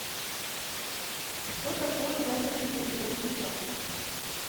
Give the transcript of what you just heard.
что такое ядерный полигон в неваде